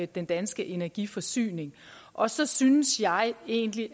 den danske energiforsyning og så synes jeg egentlig